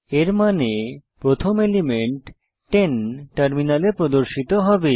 এর মানে প্রথম এলিমেন্ট 10 টার্মিনালে প্রদর্শিত হবে